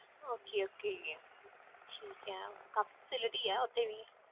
Okay okay ਠੀਕ ਹੈ ਕਾਫ਼ੀ facility ਹੈ ਉੱਥੇ ਵੀ।